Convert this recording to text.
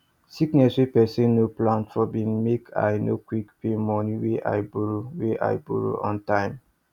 sickness wey person no plan for been make i no quick pay money wey i borrow wey i borrow on time